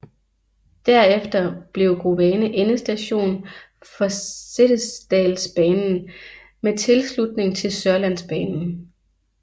Derefter blev Grovane endestation for Setesdalsbanen med tilslutning til Sørlandsbanen